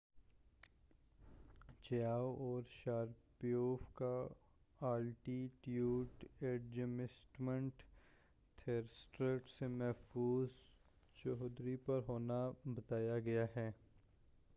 Chiao اور Sharipov کا altitude adjustment thrusters سے محفوظ چدوری پر ہونا بتایا گیا ہے